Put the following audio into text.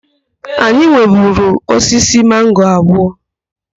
Anyị nweburu osisi mango abụọ.